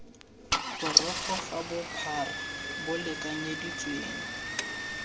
borogo fa bophara bo lekanyeditsweng